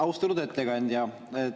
Austatud ettekandja!